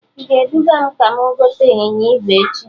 I ga-eduga m ka mụ gote ịnyịnya ígwè echi?